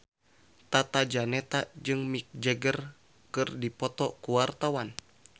Tata Janeta jeung Mick Jagger keur dipoto ku wartawan